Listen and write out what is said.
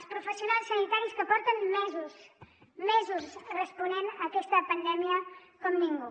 els professionals sanitaris que porten mesos mesos responent a aquesta pandèmia com ningú